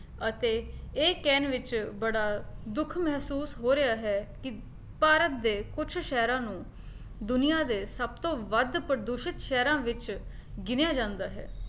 ਅਤੇ ਇਹ ਕਹਿਣ ਵਿੱਚ ਬੜਾ ਦੁੱਖ ਮਹਿਸੂਸ ਹੋ ਰਿਹਾ ਹੈ ਕੀ ਭਾਰਤ ਦੇ ਕੁਛ ਸ਼ਹਿਰਾਂ ਨੂੰ ਦੁਨੀਆਂ ਦੇ ਸਭਤੋਂ ਵੱਧ ਪ੍ਰਦੂਸ਼ਿਤ ਸ਼ਹਿਰਾਂ ਵਿੱਚ ਗਿਣਿਆ ਜਾਂਦਾ ਹੈ